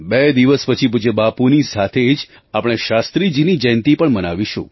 બે દિવસ પછી પૂજ્ય બાપુની સાથે જ આપણે શાસ્ત્રીજીની જયંતી પણ મનાવીશું